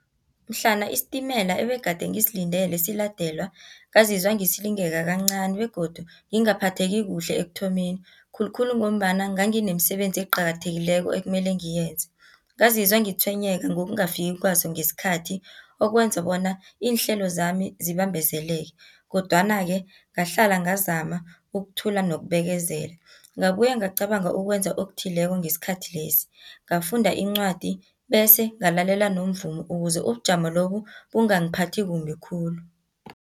Mhlana isitimela ebegade ngisilindele siladelwa, ngazizwa ngisilingeka kancani, begodu ngingaphatheki kuhle ekuthomeni, khulukhulu ngombana nganginemisebenzi eqakathekileko ekumele ngiyenze. Ngazizwa ngitshwenyeka ngokungafiki kwaso ngesikhathi, okwenze bona iinhlelo zami zibambezeleke, kodwana-ke. ngahlala ngazama ukuthula nokubekezela. Ngabuya ngacabanga ukwenza okuthileko ngesikhathi lesi, ngafunda incwadi, bese ngalalela nomvumo, ukuze ubujamo lobu, bungangiphathi kumbi khulu.